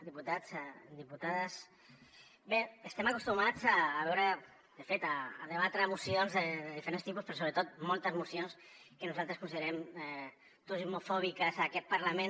diputats diputades bé estem acostumats a veure de fet a debatre mocions de diferents tipus però sobretot moltes mocions que nosaltres considerem turismofòbiques en aquest parlament